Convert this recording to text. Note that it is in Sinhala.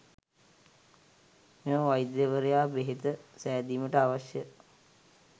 මෙම වෛද්‍යවරයා බෙහෙත සෑදීමට අවශ්‍ය